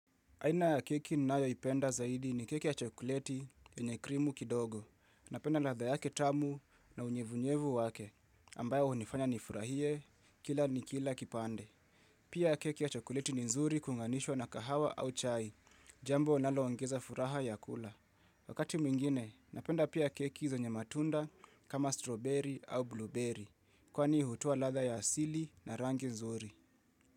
Aina ya keki ninayo ipenda zaidi ni keki ya chokoleti yenye krimu kidogo. Napenda latha yake tamu na unyevunyevu wake, ambayo hunifanya ni furahie, kila ni kila kipande. Pia keki ya chokoleti ni nzuri kuunganishwa na kahawa au chai, jambo nalo ongeza furaha ya kula. Wakati mwingine, napenda pia keki zenye matunda kama strawberry au blueberry, kwani hutoa latha ya asili na rangi nzuri.